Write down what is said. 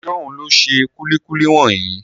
Ṣóhun ló ṣe kúlíkúlí wọ̀nyí?